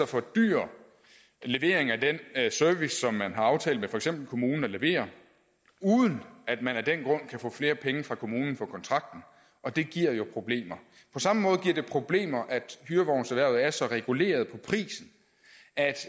fordyre leveringen af den service som man har aftalt med for eksempel kommunen at levere uden at man af den grund kan få flere penge fra kommunen på kontrakten og det giver jo problemer på samme måde giver det problemer at hyrevognserhvervet er så reguleret på prisen